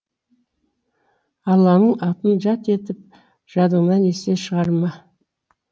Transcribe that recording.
алланың атын жат етіп жадыңнан есте шығарма